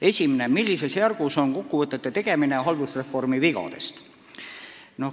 Esimene: "Millises järgus on kokkuvõtete tegemine haldusreformi vigadest?